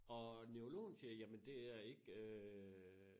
Og neurologen siger jamen det er ikke øh